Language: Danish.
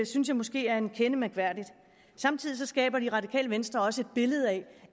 synes jeg måske er en kende mærkværkdigt samtidig skaber det radikale venstre også et billede af